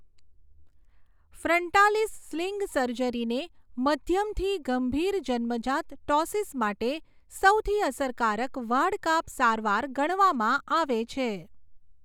Frontalis sling સર્જરીને મધ્યમથી ગંભીર જન્મજાત ટૉસિસ માટે સૌથી અસરકારક વાઢકાપ સારવાર ગણવામાં આવે છે.